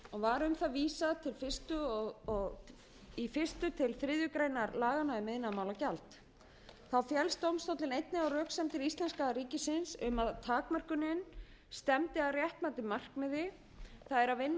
var um það vísað í fyrsta til þriðju grein laganna um iðnaðarmálagjald þá féllst dómstóllinn einnig á röksemdir íslenska ríkisins um að takmörkunin stefndi að réttmætu markmiði það er að vinna að